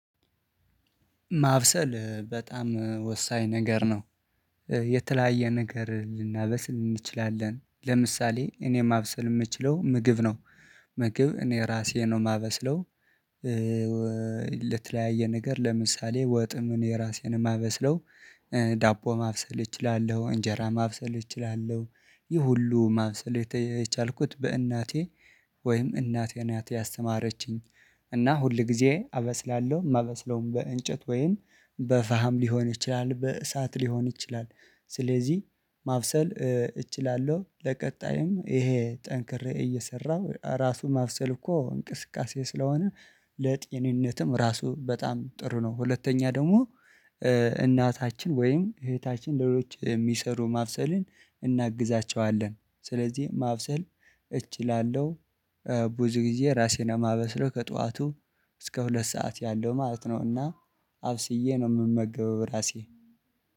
ማብሰል በጣም ወሳኝ ነገር ነው። የተለያየ ነገር ልናበስል ልንችላለን ለምሳሌ እኔ ማብሰል ምችለው ምግብ ነው። ምግብ እኔ ራሴ ነው ማበስለው። ለተለያየ ነገር ለምሳሌ ወጥም እኔ እራሴ ማበስለው። ዳቦ ማብሰል እችላለሁ እንጀራ ማብሰል እችላለሁ። ይህ ሁሉ ማብሰል የቻልኩት በእናቴ ወይም እናቴ እናቴ ያስተማረችኝ። እና ሁል ጊዜ አበስላለሁ የማበስለውም በእንጨት ወይን በፋም ሊሆን ይችላል በእሳት ሊሆን ይችላል። ስለዚህ ማብሰል እችላለሁ ለቀጣይም ይሄ ጠንክሬ እየሰራሁ ራሱ ማብሰል እኮ እንቅስቃሴ ስለሆነ። ለጤንነትም ራሱ በጣም ጥሩ ነው። ሁለተኛ ደግሞ። እናታችን ወይም እህታችን ለሌሎች የሚሰሩ ማብሰልን እናግዛቸዋለን። ስለዚህ ማብሰል እችላለሁ። ብዙ ጊዜ ራሴን ለማበስለው ከጧቱ እስከ ሁለት ሰዓት ያለው ማለት ነውና አብስዬ ነው ምመገበው ራሴ